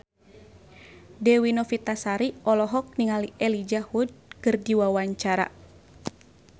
Dewi Novitasari olohok ningali Elijah Wood keur diwawancara